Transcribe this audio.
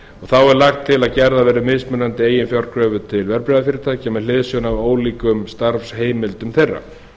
þá er lagt til að gerðar verði mismunandi eiginfjárkröfur til verðbréfafyrirtækja með hliðsjón af ólíkum starfsheimildum þeirra